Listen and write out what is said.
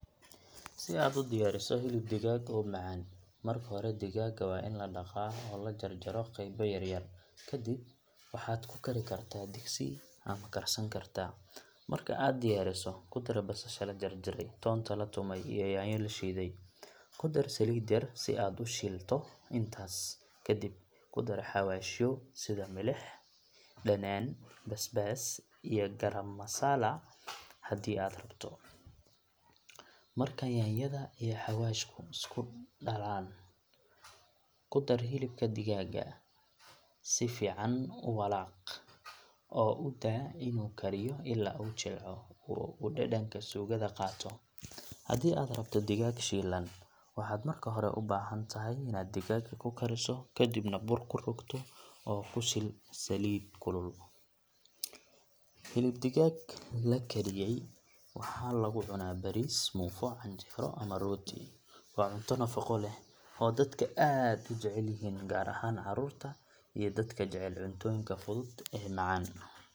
Si aad u diyaariso hilib digaag oo macaan, marka hore digaagga waa in la dhaqaa oo la jarjaro qaybo yaryar. Kadib waxaad ku kari kartaa digsi ama karsan kartaa. Marka aad diyaariso, ku dar basasha la jarjaray, toonta la tumay, iyo yaanyo la shiiday. Ku dar saliid yar si aad u shiilto intaas, kadib ku dar xawaashyo sida milix, dhanaan, basbaas, iyo garam masala haddii aad rabto. Marka yaanyada iyo xawaashku ay isku dhalaalaan, ku dar hilibka digaagga. Si fiican u walaaq oo u daa inuu kariyo ilaa uu jilco oo uu dhadhanka suugada qaato. Haddii aad rabto digaag shiilan, waxaad marka hore u baahan tahay inaad digaagga karkariso, kadibna bur ku rogto oo ku shiil saliid kulul. Hilib digaag la kariyay waxaa lagu cunaa bariis, muufo, canjeero ama rooti. Waa cunto nafaqo leh oo dadka aad u jecel yihiin, gaar ahaan caruurta iyo dadka jecel cuntooyinka fudud ee macaan.